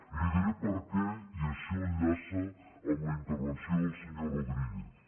i li diré per què i això enllaça amb la intervenció del senyor rodríguez